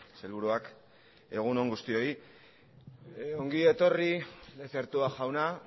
sailburuak egun on guztioi ongi etorri lezertua jauna